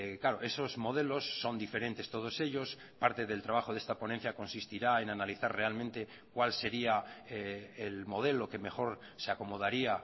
claro esos modelos son diferentes todos ellos parte del trabajo de esta ponencia consistirá en analizar realmente cuál sería el modelo que mejor se acomodaría